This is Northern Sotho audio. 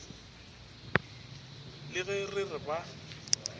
le ge re re ba